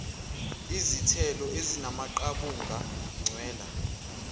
ezithelo ezinamaqabunga ncwela